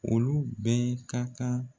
Olu bɛɛ ka kan